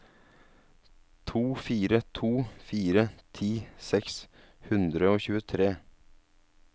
to fire to fire ti seks hundre og tjuetre